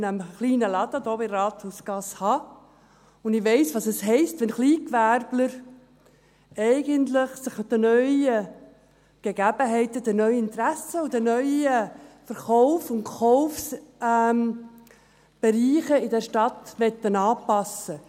Denn ich habe nämlich einen kleinen Laden oben in der Rathausgasse, und ich weiss, was es für Kleingewerbler heisst, die sich eigentlich an neue Gegebenheiten, neue Interessen und neue Verkaufs- und Kaufbereiche anpassen möchten.